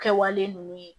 Kɛwale ninnu ye